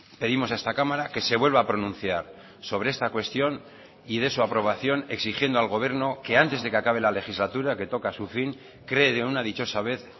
pedimos a esta cámara que se vuelva a pronunciar sobre esta cuestión y de su aprobación exigiendo al gobierno que antes de que acabe la legislatura que toca su fin cree de una dichosa vez